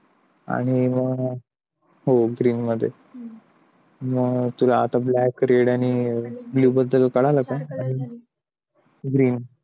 आणि मग green मध्ये मग तुला आता blood red आणि blue बद्दल कळालं का green